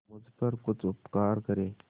मुझ पर कुछ उपकार करें